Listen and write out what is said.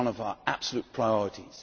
It is one of our absolute priorities.